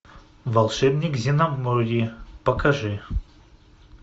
волшебник земноморья покажи